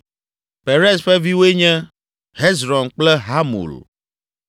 Perez ƒe viwoe nye: Hezron kple Hamul.